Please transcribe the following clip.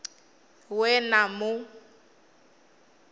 ṅ we na mu ṅ